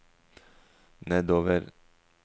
nedover